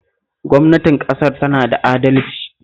Gwamnatin ƙasar tana da adalci